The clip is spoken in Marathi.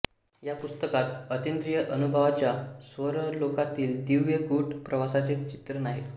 या पुस्तकात अतींद्रिय अनुभवांच्या स्वर्गलोकातील दिव्य गूढ प्रवासाचे चित्रण आहे